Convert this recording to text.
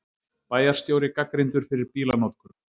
Bæjarstjóri gagnrýndur fyrir bílanotkun